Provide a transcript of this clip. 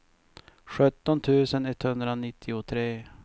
sjutton tusen etthundranittiotre